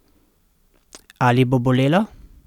Ali bo bolelo?